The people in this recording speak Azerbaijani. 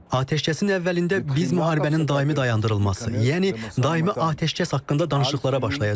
Atəşkəsin əvvəlində biz müharibənin daimi dayandırılması, yəni daimi atəşkəs haqqında danışıqlara başlayacağıq.